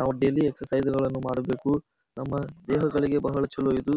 ನಾವು daily exercise ಮಾಡಬೇಕು. ನಮ್ಮ ದೇಹಗಳಿಗೆ ಬಹಳ ಚಲೋ ಇದು.